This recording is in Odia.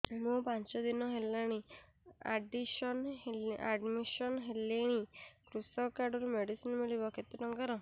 ମୁ ପାଞ୍ଚ ଦିନ ହେଲାଣି ଆଡ୍ମିଶନ ହେଲିଣି କୃଷକ କାର୍ଡ ରୁ ମେଡିସିନ ମିଳିବ କେତେ ଟଙ୍କାର